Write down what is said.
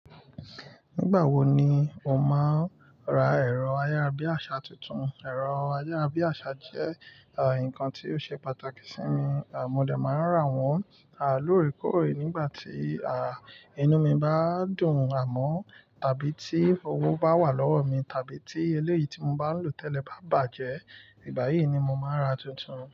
Nígbà wo ni o máa ra ẹ̀rọ ayárabíàṣá tuntun? Ẹ̀rọ ayárabíàṣá jẹ́ nǹkan tí ó ṣe pàtàkì sí mi, mo dẹ̀ máa ń rà wọ́n lóòrèkóòrè nígbà tí inú mi bá dùn amọ́ tàbí tí owó bá wà lọ́wọ́ mi tàbí tí eléyìí tí mo bá ń lò tẹ́lẹ̀ bá bàjẹ́, ìgbà yìí ni mo máa ra tuntun.